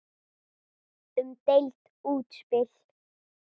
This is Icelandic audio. Umdeilt útspil.